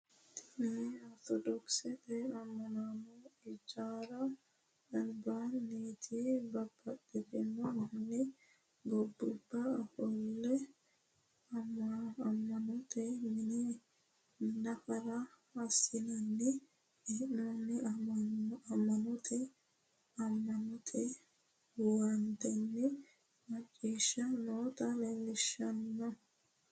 tini ortodookisete ama'no ijaara labanoti babbaxino manni gobani ofole amanote mini nafara assinani hennoniha amanote amagnote huwatannina maccishani noota leellishano.